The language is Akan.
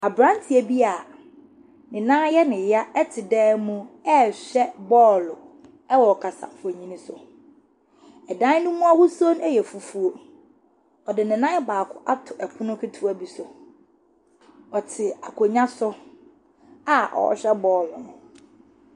Aberanteɛ bi a ne nan yɛ ne ya ɛte dɛm mu ɛɛhwɛ bɔɔl ɛwɔ kasafonini so. Ɛdan ne mu ahosuo ɛyɛ fufuuo. Ɔde ne nan baako ato ɛpono ketoa bi so. Ɔte akonwa so a ɔhwɛ bɔɔl.